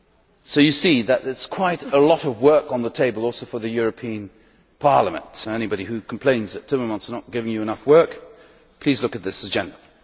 As you see, there is quite a lot of work on the table, also for the European Parliament, so anybody who complains that Timmermans is not giving you enough work, please look at this agenda.